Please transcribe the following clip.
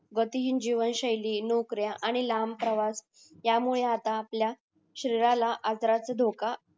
गती हि जीवनशैली नोकऱ्या आणि लांब प्रवास यामुळे आता आपल्या शरीराला आजाराचा धोका